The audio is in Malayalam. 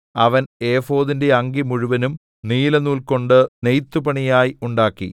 അവൻ ഏഫോദിന്റെ അങ്കി മുഴുവനും നീലനൂൽകൊണ്ട് നെയ്ത്തുപണിയായി ഉണ്ടാക്കി